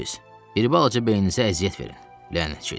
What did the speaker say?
Bir balaca beyninizə əziyyət verin, lənət şeytana.